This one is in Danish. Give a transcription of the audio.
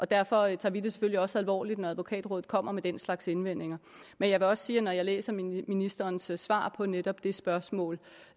derfor tager vi det selvfølgelig også alvorligt når advokatrådet kommer med den slags indvendinger men jeg vil også sige at når jeg læser ministerens svar på netop det spørgsmål